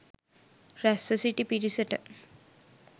රැස්ව සිටි පිරිසට